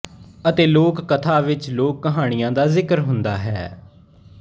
ਅਤੇ ਲੋਕ ਕਥਾ ਵਿੱਚ ਲੋਕ ਕਹਾਣੀਆਂ ਦਾ ਜ਼ਿਕਰ ਹੁੰਦਾ ਹੈ